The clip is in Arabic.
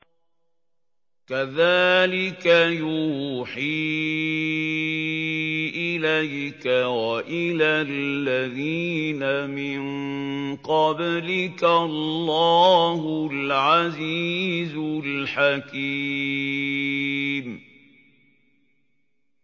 كَذَٰلِكَ يُوحِي إِلَيْكَ وَإِلَى الَّذِينَ مِن قَبْلِكَ اللَّهُ الْعَزِيزُ الْحَكِيمُ